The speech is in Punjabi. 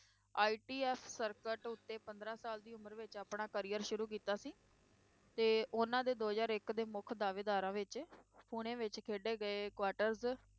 ITF ਸਰਕਟ ਉੱਤੇ ਪੰਦਰਾਂ ਸਾਲ ਦੀ ਉਮਰ ਵਿੱਚ ਆਪਣਾ career ਸ਼ੁਰੂ ਕੀਤਾ ਸੀ ਤੇ ਉਨ੍ਹਾਂ ਦੇ ਦੋ ਹਜ਼ਾਰ ਇੱਕ ਦੇ ਮੁੱਖ ਦਾਅਵੇਦਾਰਾਂ ਵਿੱਚ ਪੁਣੇ ਵਿੱਚ ਖੇਡੇ ਗਏ quarters